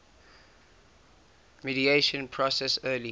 mediation process early